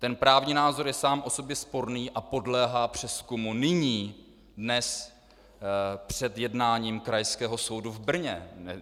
Ten právní názor je sám o sobě sporný a podléhá přezkumu nyní, dnes, před jednáním krajského soudu v Brně.